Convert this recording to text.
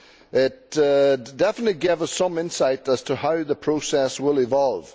It definitely gave us some insight as to how the process will evolve.